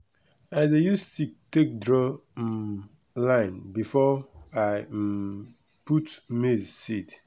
i dey use stick take draw um line before i um put maize seed.